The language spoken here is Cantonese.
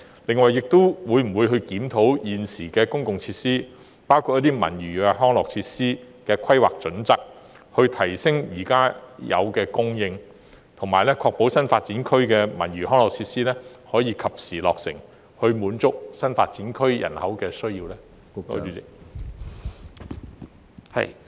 此外，政府會否檢討公共設施的現行規劃標準，以增加設施供應，並確保新發展區的文娛康樂設施可及時建成，以滿足區內人口的需要？